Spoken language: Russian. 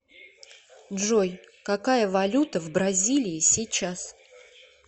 джой какая валюта в бразилии сейчас